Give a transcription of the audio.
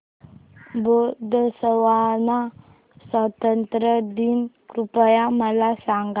Botswana स्वातंत्र्य दिन कृपया मला सांगा